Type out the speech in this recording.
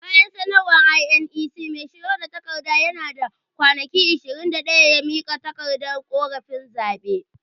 Bayan sanarwar INEC, mai shigar da kara yana da kwanaki ishirin da daya ya mika takardar korafin zaɓe.